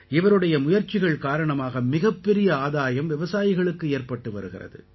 இவருடைய முயற்சிகள் காரணமாக மிகப்பெரிய ஆதாயம் விவசாயிகளுக்கு ஏற்பட்டு வருகிறது